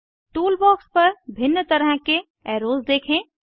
tool box पर भिन्न तरह के एर्रोस देखें